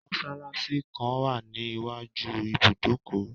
Mọsálásí kan wà ní iwájú ibùdókọ̀.